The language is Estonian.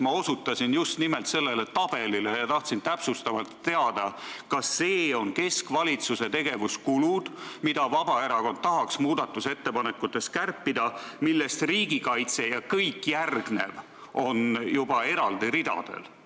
Ma osutasin just nimelt sellele tabelile ja tahtsin täpsustavalt teada, kas need on keskvalitsuse tegevuskulud, mida Vabaerakond tahaks muudatusettepanekute abil kärpida, ning riigikaitse ja kõik järgnev on juba eraldi ridadel.